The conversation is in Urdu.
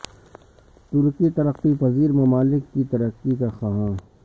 ترکی ترقی پذیر ممالک کی ترقی کا خواہاں